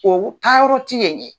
Olu taa yɔrɔ ti yen ye.